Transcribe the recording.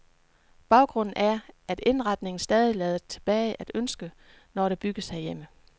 Baggrunden er, at indretningen stadig lader tilbage at ønske, når der bygges herhjemme.